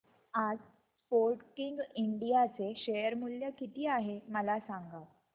आज Sportking India चे share मूल्य किती आहे मला सांगा